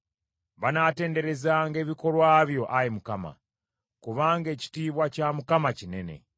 Banaatenderezanga ebikolwa byo Ayi Mukama ; kubanga ekitiibwa kya Mukama kinene.